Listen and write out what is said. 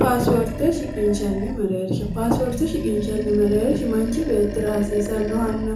paaswoorte shiginshanni mareersha paasuwoorte shiginshanni mareer himanchi beettira hasiisannohanna